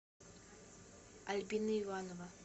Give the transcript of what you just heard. альбина иванова